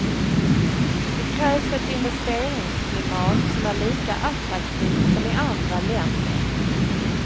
Det krävs ett investeringsklimat som är lika attraktivt som i andra länder.